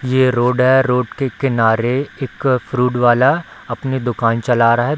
ये रोड है रोड के किनारे एक फ्रूट वाला अपनी दुकान चला रहा है।